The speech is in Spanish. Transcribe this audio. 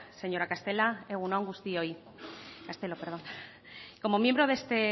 señora castelo egun on guztioi como miembro de este